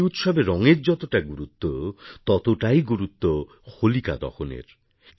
হোলিউৎসবে রঙের যতটা গুরুত্ব ততটাই গুরুত্ব হোলিকা দহনএর